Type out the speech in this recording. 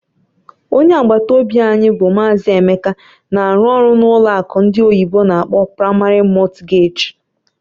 Onye agbata obi anyị bụ Maazị Emeka na-arụ ọrụ na ụlọ akụ ndị oyibo n'akpọ "Primary Mortgage",